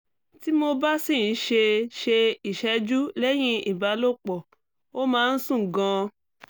tí mo bá sì ń ṣe ṣe ìṣẹ́jú lẹ́yìn ìbálòpọ̀ ó máa ń sun gan-an